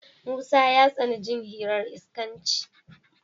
Musa ya tsani jin hirar iskanci.